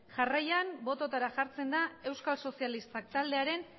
jarraian bototara jartzen da euskal sozialistak taldearen